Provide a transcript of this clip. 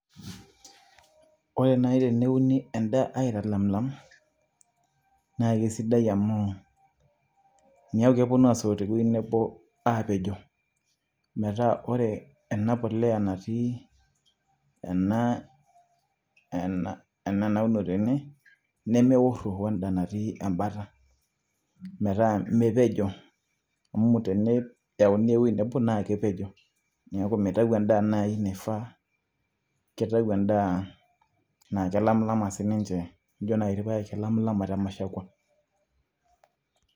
ore naaji teneuni edaa naaji aitobiraki, aitalamilam naa kesidai amu meeku kepuonu aasoto te wueji nebo, aapejo. metaa ore ena puliya natii ena ena naudo tene, nemekuro weda nati ebata, metaa mepejo. amu teneyauni ewueji nebo naa kepejo, neiku mitau naaji edaa nifaa, metaa kelailama sii ninche ijo naaji irpaek kelamilama te mushkwa.